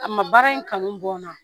A ma baara in kanu bɔ n na